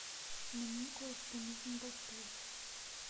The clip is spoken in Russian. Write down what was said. мне кое что нужно доставить